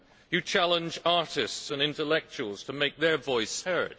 You challenge artists and intellectuals to make their voice heard.